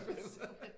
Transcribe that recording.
Så fedt